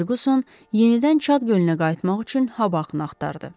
Ferquson yenidən Çad gölünə qayıtmaq üçün hava axını axtardı.